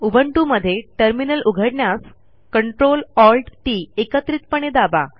Ubuntu मध्ये terminal उघडण्यासCtrl Alt टीटी एकत्रितपणे दाबा